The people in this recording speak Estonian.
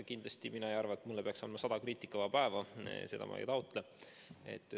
Kindlasti mina ei arva, et mulle peaks andma sada kriitikavaba päeva, seda ma ei taotle.